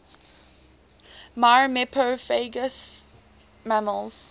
myrmecophagous mammals